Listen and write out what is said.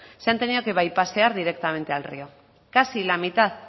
se han tenido que bypasear directamente al río casi la mitad